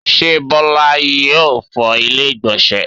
ṣé Bola yóò fọ ilẹ́ ìgbọ̀nsẹ̀